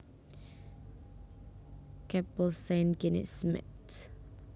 Kapél Saint Genest Métz